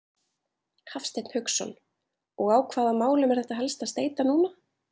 Hafsteinn Hauksson: Og á hvaða málum er þetta helst að steyta núna?